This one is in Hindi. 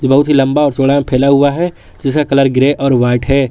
ये बहुत ही लंबा और चौड़ा में फैला हुआ है जिसका कलर ग्रे और वाइट है।